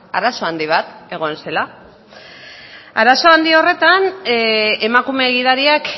arazo handi bat egon zela arazo handi horretan emakume gidariak